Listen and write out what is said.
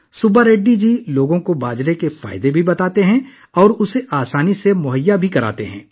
سبا ریڈی جی لوگوں کو باجرے کے فوائد بھی بتاتے ہیں اور اسے آسانی سے دستیاب بھی کراتے ہیں